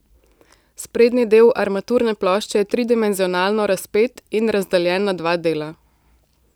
Sprednji del armaturne plošče je tridimenzionalno razpet in razdeljen na dva dela.